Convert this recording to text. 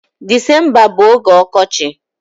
Disemba bu oge ọkọchị.